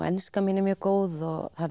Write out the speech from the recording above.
enskan mín er góð